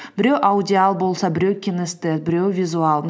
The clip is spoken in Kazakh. біреу аудиал болса біреу кинестез біреуі визуал